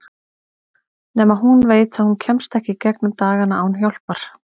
Nema hún veit að hún kemst ekki í gegnum dagana án hjálpar.